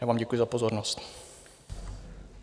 Já vám děkuji za pozornost.